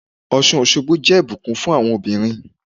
Ọ̀ṣun Òṣogbo jẹ́ ìbùkún fún àwọn obìnrin.